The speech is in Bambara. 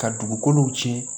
Ka dugukolow cɛn